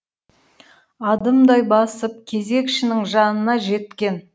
адымдай басып кезекшінің жанына жеткен